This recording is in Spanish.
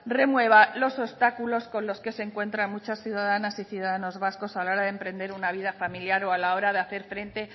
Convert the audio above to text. remueva los obstáculos con los que se encuentran muchas ciudadanas y ciudadanos vascos a la hora de emprender una vida familiar o a la hora de hacer frente